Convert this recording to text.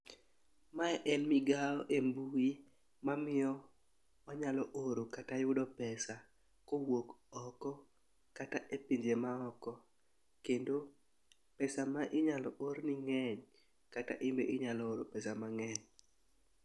Mae en migawo e mbui mamiyo manyalo oro kata yudo pesa kowuok oko kata e pinje maoko kendo pesa ma inyalo orni ng'eny kata inbe inyalo oro pesa mang'eny.